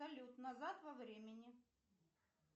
салют назад во времени